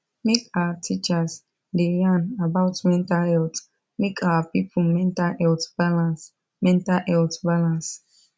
make our teachers da yan about mental health make our people mental health balance mental health balance